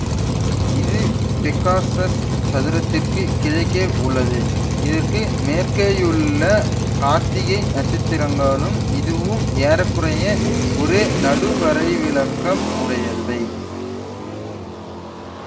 இது பெக்காஸஸ் சதுரத்திற்குக் கிழக்கே உள்ளது இதற்கு மேற்கேயுள்ள கார்த்திகை நட்சத்திரங்களும் இதுவும் ஏற குறைய ஒரே நடுவரைவிலக்கம் உடையவை